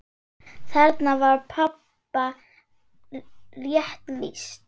Þarna var pabba rétt lýst.